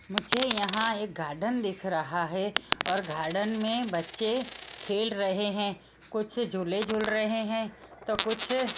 मुझे यहां एक गार्डन दिख रहा है और गार्डन में बच्चे खेल रहे हैं कुछ झूले झूल रहे हैं तो कुछ--